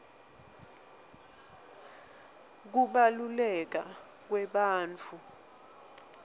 kubaluleka kwebantfu